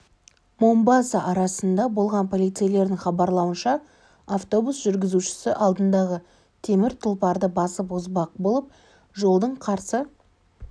момбаса арасында болған полицейлердің хабарлауынша автобус жүргізушісі алдындағы темір тұлпарды басып озбақ болып жолдың қарсы